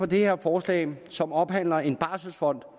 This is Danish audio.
det her forslag som omhandler en barselsfond